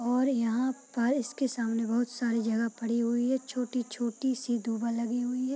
और यहाँ पर इसके सामने बहुत सारी जगह पड़ी हुई है छोटी-छोटी सी दुबा लगी हुई है।